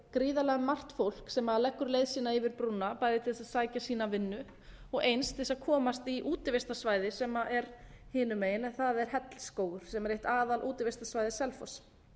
gríðarlega margt fólk sem leggur leið sína yfir brúna bæði til þess að sækja sína vinnu og eins til þess að komast í útivistarsvæði sem er hinum megin en það er hellisskógur sem er eitt aðalútivistarsvæði selfoss